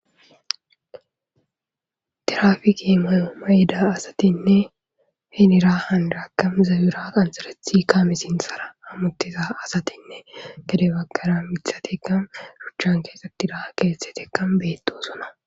tirafiki mayo mayida asatinne henira handaakam zawura qansarethi kaamisinsara amuttiza asatinne gade baggara mithateka ruchchan keesatira keettetekkam beeto suna